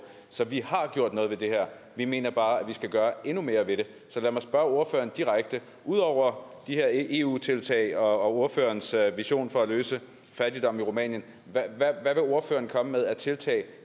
så vi har gjort noget ved det her vi mener bare at vi skal gøre endnu mere ved det så lad mig spørge ordføreren direkte ud over de her eu tiltag og ordførerens vision for at løse fattigdommen i rumænien hvad vil ordføreren komme med af tiltag